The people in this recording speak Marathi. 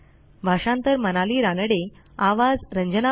सहभागाबद्दल धन्यवाद